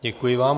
Děkuji vám.